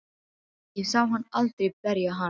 Ég sá hann aldrei berja hana.